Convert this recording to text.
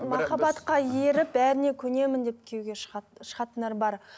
махаббатқа еріп бәріне көнемін деп күйеуге шығатындар бар